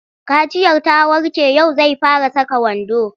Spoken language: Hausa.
Kaciyar ta warke yau zai fara saka wando.